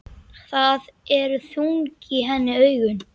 Það eru þung í henni augun.